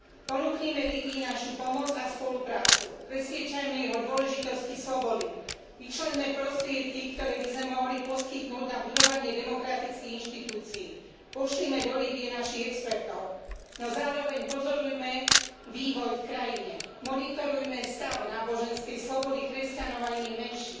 Ponúknime Líbyi našu pomoc a spoluprácu, presviedčajme ich o dôležitosti slobody, vyčleňme prostriedky, ktoré by sme mohli poskytnúť na budovanie demokratických inštitúcií, pošlime do Líbye našich expertov, no zároveň pozorujme vývoj v krajine, monitorujme stav náboženskej slobody kresťanov a iných menšín,